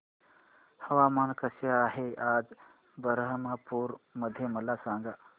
हवामान कसे आहे आज बरहमपुर मध्ये मला सांगा